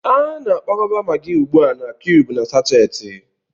A na-akwakọba Maggi ugbu a na kiyubu na sáchééti